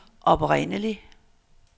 oprindelig